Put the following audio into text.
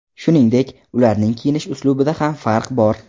Shuningdek, ularning kiyinish uslubida ham farq bor.